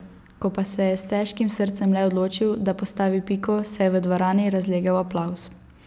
Ko pa se je s težkim srcem le odločil, da postavi piko, se je v dvorani razlegel aplavz.